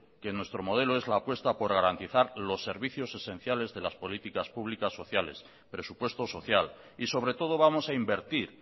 que nuestro modelo es la puesta por garantizar los servicios esenciales de las políticas públicas sociales presupuesto social y sobre todo vamos a invertir